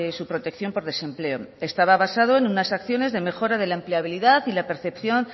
su protección por desempleo estaba basado en unas acciones de mejora de la empleabilidad y de la percepción